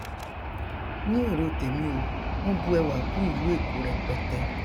ní èrò tèmi o wọn bu ẹwà kún ìlú èkó rẹpẹtẹ